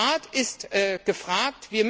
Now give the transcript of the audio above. Der Rat ist